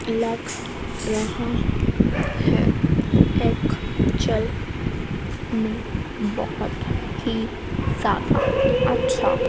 lux यहां है एक चल नी बहोत ही सा अच्छा--